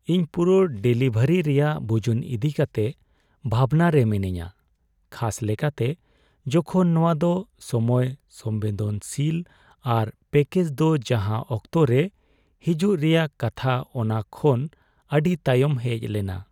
ᱤᱧ ᱯᱩᱨᱟᱹ ᱰᱮᱞᱤᱵᱷᱟᱨᱤ ᱨᱮᱭᱟᱜ ᱵᱩᱡᱩᱱ ᱤᱫᱤ ᱠᱟᱛᱮ ᱵᱷᱟᱵᱽᱱᱟ ᱨᱮ ᱢᱤᱱᱟᱧᱟ, ᱠᱷᱟᱥ ᱞᱮᱠᱟᱛᱮ ᱡᱚᱠᱷᱚᱱ ᱱᱚᱶᱟ ᱫᱚ ᱥᱚᱢᱚᱭᱼᱥᱚᱝᱵᱮᱫᱚᱱᱥᱤᱞ ᱟᱨ ᱯᱮᱹᱠᱮᱡᱽ ᱫᱚ ᱡᱟᱦᱟᱸ ᱚᱠᱛᱚ ᱨᱮ ᱦᱤᱡᱩᱜ ᱨᱮᱭᱟᱜ ᱠᱟᱛᱷᱟ ᱚᱱᱟ ᱠᱷᱚᱱ ᱟᱹᱰᱤ ᱛᱟᱭᱚᱢ ᱦᱮᱡ ᱞᱮᱱᱟ ᱾